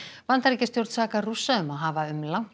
Bandaríkjastjórn sakar Rússa um að hafa um langt